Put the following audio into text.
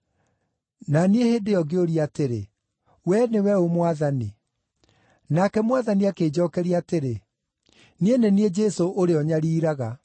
“Na niĩ hĩndĩ ĩyo ngĩũria atĩrĩ, ‘Wee nĩwe ũ, Mwathani?’ “Nake Mwathani akĩnjookeria atĩrĩ, ‘Nĩ niĩ Jesũ ũrĩa ũnyariiraga.